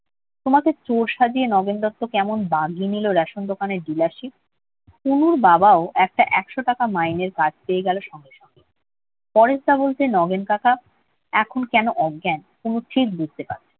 তোমাকে চোর সাজিয়ে নগেন দত্ত কেমন বাগিয়ে নিল রেশন দোকানের dealarship তনুর বাবাও একটা একশো টাকা মাইনের কাজ পেয়ে গেল সঙ্গে। পরেশদা বলতে নগেন কাকা এখন কেন অজ্ঞান তনু ঠিক বুঝতে পারবে।